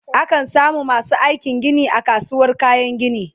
a kan samu masu aikin Gini a kasuwar kayan gini